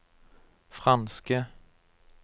franske